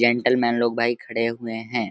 Gentlemen लोग भाई खड़े हुए हैं।